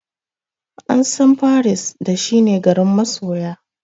An san paris da shi ne garin masoya.